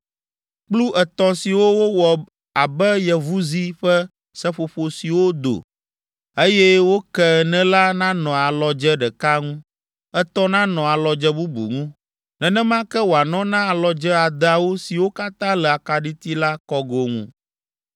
Kplu etɔ̃ siwo wowɔ abe yevuzi ƒe seƒoƒo siwo do, eye woke ene la nanɔ alɔdze ɖeka ŋu, etɔ̃ nanɔ alɔdze bubu ŋu. Nenema ke wòanɔ na alɔdze adeawo siwo katã le akaɖiti la kɔgo ŋu.